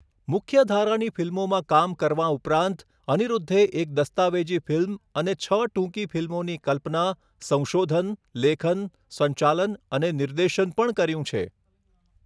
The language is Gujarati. મુખ્યધારાની ફિલ્મોમાં કામ કરવા ઉપરાંત, અનિરુદ્ધે એક દસ્તાવેજી ફિલ્મ અને છ ટૂંકી ફિલ્મોની કલ્પના, સંશોધન, લેખન, સંચાલન અને નિર્દેશન પણ કર્યું છે.